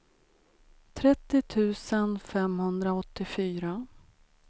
trettio tusen femhundraåttiofyra